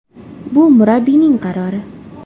Bu murabbiyning qarori.